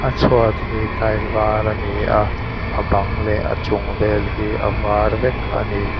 a chhuat hi tile var a ni a a bang leh a chung vel hi a var vek a ni.